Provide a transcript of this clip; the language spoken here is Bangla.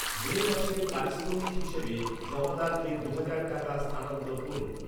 মে মাসের পারিশ্রমিক হিসেবে জমাদারকে দু'হাজার টাকা স্থানান্তর করুন।